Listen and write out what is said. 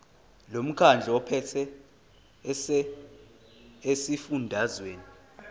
lomkhandlu ophethe esifundazweni